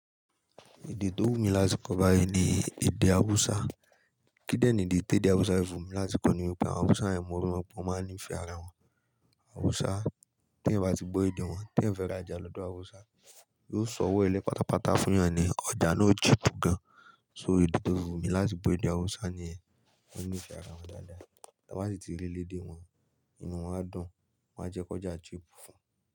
Èdè tó wù mí láti kọ báyìí ni èdè Hausa. Kí dẹ̀ ni ìdí tí èdè Hausa fi wù mí láti kọ ni wípé àwọn Hausa rẹ̀ mo rí wọn pé máa ń ní ìfẹ́ ara wọn. Hausa tí ẹ̀ bá ti gbọ́ èdè wọn, tí ẹ̀ fẹ́ rajà lọ́dọ̀ Hausa, yóò sọ ọwọ́ ẹ lẹ́ pátápátá fún ìyẹn ni ọjà náà cheap gan. So èdè tó wù mí láti gbọ́ ni èdè Hausa ni ẹ̀. Wọ́n ní ìfẹ́ ara wọn dáadáa. Ti wọn ba rí élé dé wọn, inú wọn á dùn, wọ́n á jẹ kọjá cheap fún.